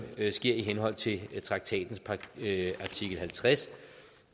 sker i henhold til traktatens artikel halvtreds